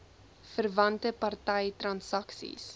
verwante party transaksies